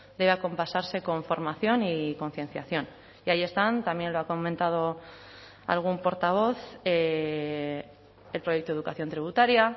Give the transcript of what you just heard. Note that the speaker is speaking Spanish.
debe acompasarse con formación y concienciación y ahí están también lo ha comentado algún portavoz el proyecto de educación tributaria